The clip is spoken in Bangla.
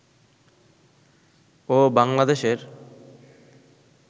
ও বাংলাদেশের